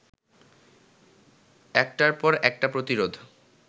একটার পর একটা প্রতিরোধ